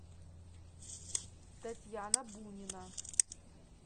татьяна бунина